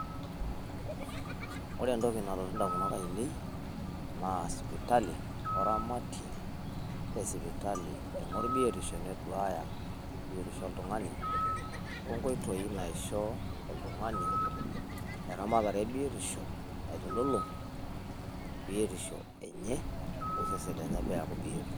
Ore entoki nalotu in`damunot ainei naa sipitali o ramatie le sipitali eing`orr biotisho neduaya biotisho o oltung`ani o nkoitoi naisho oltung`ani eramatare e biotisho naitululung biotisho enye o sesen lenye pee eaku bioto.